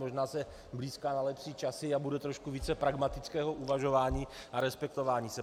Možná se blýská na lepší časy a bude trošku více pragmatického uvažování a respektování se.